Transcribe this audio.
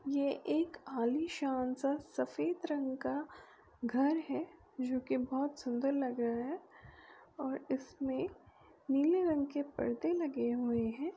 ये एक आलीशान सा सफ़ेद रंग का घर है जो कि बहौत सुंदर लग रहा है और इसमें नीले रंग के पर्दे लगे हुए हैं।